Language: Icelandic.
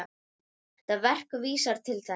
Þetta verk vísar til þess.